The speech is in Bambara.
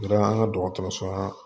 Kɛra an ka dɔgɔtɔrɔso